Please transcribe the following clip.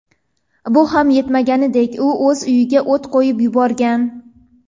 Bu ham yetmaganidek u o‘z uyiga o‘t qo‘yib yuborgan.